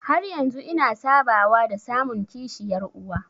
Har yanzu ina sabawa da samun kishiyar uwa.